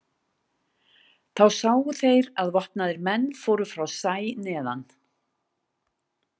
Þá sáu þeir að vopnaðir menn fóru frá sæ neðan.